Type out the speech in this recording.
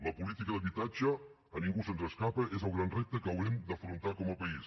la política d’habitatge a ningú se’ns escapa és el gran repte que haurem d’afrontar com a país